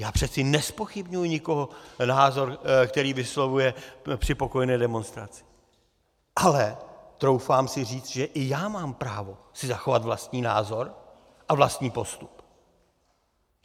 Já přeci nezpochybňuji ničí názor, který vyslovuje při pokojné demonstraci, ale troufám si říct, že i já mám právo si zachovat vlastní názor a vlastní postup.